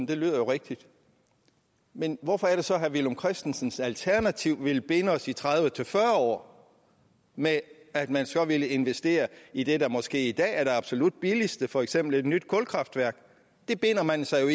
det lyder jo rigtigt men hvorfor er det så at herre villum christensens alternativ ville binde os i tredive til fyrre år med at man så ville investere i det der måske i dag er det absolut billigste for eksempel et nyt kulkraftværk det binder man sig jo